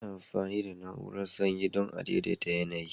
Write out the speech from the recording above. Ana amfani da na'urar sanyi dan a daidaita yanayi.